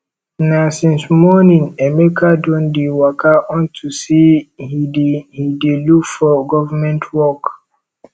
na since morning emeka don dey waka unto say he dey he dey look for government work